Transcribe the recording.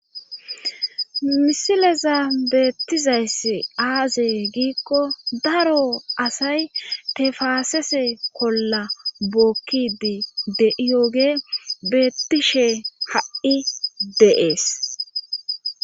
Misileza beettizayss aazee giikko daro asay te faasese kolla bookkidi de'iyooge beettishe ha'i deees.